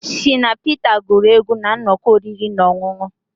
Shina Peter guru egwu na nnọkọ oriri na ọṅụṅụ